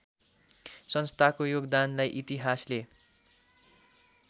संस्थाको योगदानलाई इतिहासले